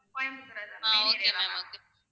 ah okay ma'am